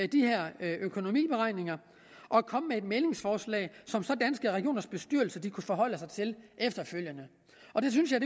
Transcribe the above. de her økonomiberegninger og komme med et mæglingsforslag som så danske regioners bestyrelse kunne forholde sig til efterfølgende og det synes jeg